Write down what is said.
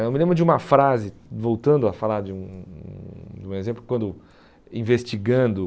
Eu me lembro de uma frase, voltando a falar de um de um exemplo, quando investigando